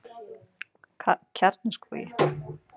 Kjarnaskógi